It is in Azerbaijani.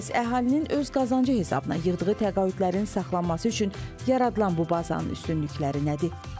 Bəs əhalinin öz qazancı hesabına yığdığı təqaüdlərin saxlanması üçün yaradılan bu bazanın üstünlükləri nədir?